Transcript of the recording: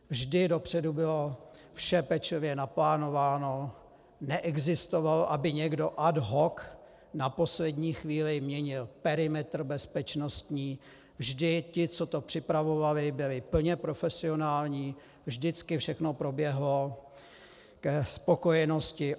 Vždy dopředu bylo vše pečlivě naplánováno, neexistovalo, aby někdo ad hoc na poslední chvíli měnil perimetr bezpečnostní, vždy ti, co to připravovali, byli plně profesionální, vždycky všechno proběhlo ke spokojenosti.